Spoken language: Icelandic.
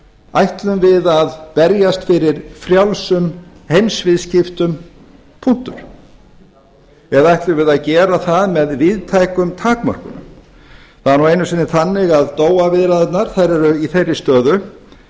ætlum við að berjast fyrir frjálsum heimsviðskiptum punktur eða ætlum á að gera það með víðtækum takmörkunum það er nú einu sinni þannig að viðræðurnar eru í þeirri stöðu